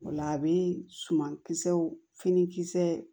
O la a bɛ suman kisɛw fini kisɛ